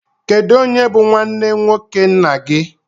Kedụ onye bụ nwanne nwoke nna gị?